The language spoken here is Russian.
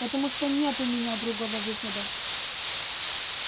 потому что нет у меня другого выхода